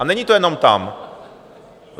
A není to jenom tam.